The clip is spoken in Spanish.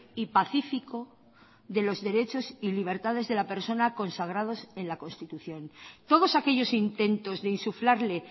y pacífico de los derechos y libertades de la persona consagrados en la constitución todos aquellos intentos de insuflarle